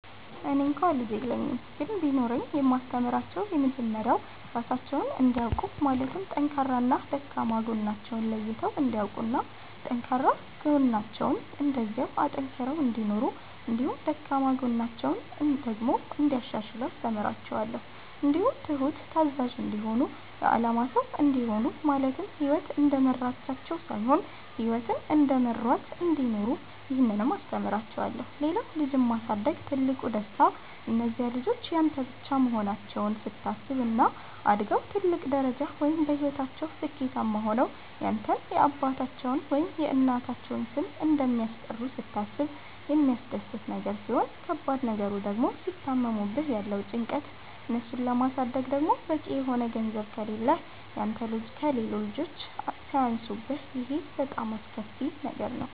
እኔ እንኳ ልጅ የለኝም ግን ቢኖረኝ የማስተምራቸዉ የመጀመሪያዉ ራሳቸዉን እንዲያዉቁ ማለትም ጠንካራና ደካማ ጎናቸዉን ለይተዉ እንዲያዉቁና ጠንካራ ጎናቸዉን እንደዚያዉ አጠንክረዉ እንዲኖሩ እንዲሁም ደካማ ጎናቸዉን ደግሞ እንያሻሽሉ አስተምራቸዋለሁ። እንዲሁም ትሁት፣ ታዛዥ፣ እንዲሆኑ የአላማ ሰዉ እንዲሆኑ ማለትም ህይወት እንደመራቻቸዉ ሳይሆን ህይወትን እየመሯት እንዲኖሩ ይህንንም አስተምራቸዋለሁ። ሌላዉ ልጅን ማሳደግ ትልቁ ደስታ እነዚያ ልጆች ያንተ ብቻ መሆናቸዉን ስታስብ፣ እና አድገዉ ትልቅ ደረጃ ወይም በህይወታቸዉ ስኬታማ ሆነዉ ያንተን የአባታቸዉን ወይም የእናታቸዉን ስም እንደሚያስጠሩ ስታስብ የሚያስደስት ነገር ሲሆን ከባድ ነገሩ ድግሞ ሲታመሙብህ ያለዉ ጭንቀት፣ እነሱን ለማሳደግ ደግሞ በቂ የሆነ ገንዘብ ከሌህ ያንተ ከሌሎች ልጆች ሲያንሱብህ ይሄ በጣም አስከፊ ነገር ነዉ።